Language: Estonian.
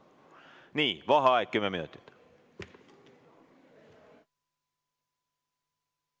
Nii, vaheaeg kümme minutit.